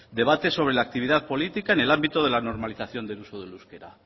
debates sobre la actividad política en el ámbito de la normalización del uso del euskera